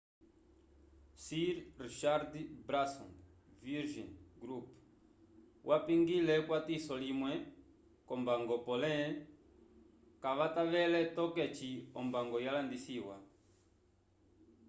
sir richard branson's virgin group vapingile ekwatiso limwe k'ombango pole kavatavele toke eci ombango yalandisiwa